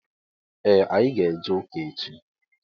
Ee anyị ga- eje ụka echi